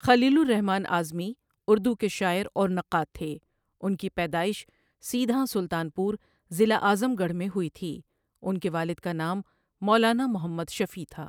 خلیل الرحمٰن اعظمی اردو کے شاعر اور نقاد تھے ان کی پیدائش سیدھاں، سلطانپور ضلع اعظم گڑھ میں ہوئی تھی ان کے والد کا نام مولانا محمد شفیع تھا۔